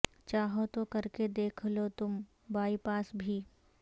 چاہو تو کرکے دیکھ لو تم بائی پاس بھی